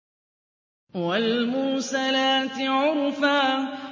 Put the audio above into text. وَالْمُرْسَلَاتِ عُرْفًا